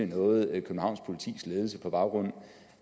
noget københavns politis ledelse gør på baggrund